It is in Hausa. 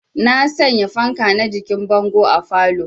Na sanya fanka na jikin bango a falow